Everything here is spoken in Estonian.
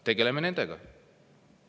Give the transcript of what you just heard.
Tegeleme nendega!